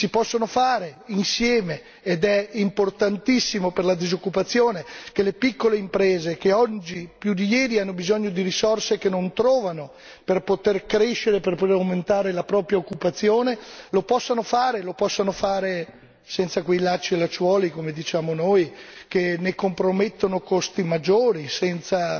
Si possono fare, insieme, ed è importantissimo per la disoccupazione che le piccole imprese, che oggi più di ieri hanno bisogno di risorse che non trovano per poter crescere, per poter aumentare la propria occupazione, lo possano fare senza quei lacci e lacciuoli, come diciamo noi, che ne compromettono costi maggiori senza